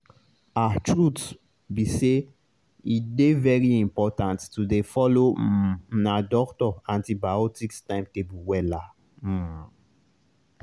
ahtruth be say e dey very important to dey follow um una doctor antibiotics timetable wella. um